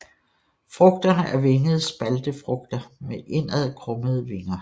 Frugterne er vingede spaltefrugter med indadkrummede vinger